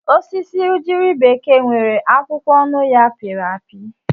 Osisi ugiri bekee nwere akwụkwọ onụ- ya pịrị apị.